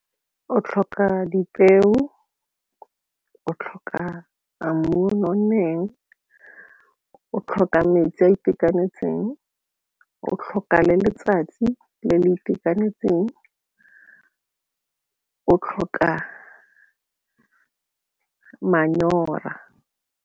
O tlhoka dipeo, o tlhoka mmu o o nonneng, o tlhoka metsi a itekanetseng, o tlhoka le letsatsi le le itekanetseng, o tlhoka manyora.